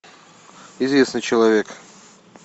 известный человек